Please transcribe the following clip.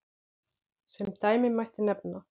Sem dæmi mætti nefna